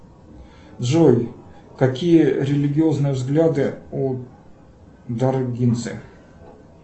джой какие религиозные взгляды у даргинцы